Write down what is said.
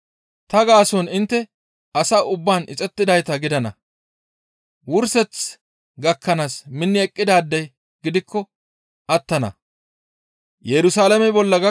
Ta gaason intte asa ubbaan ixettidayta gidana; wurseth gakkanaas minni eqqidaadey gidikko attana.